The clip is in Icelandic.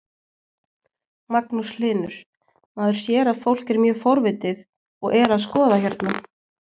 Magnús Hlynur: Maður sér að fólk er mjög forvitið og er að skoða hérna?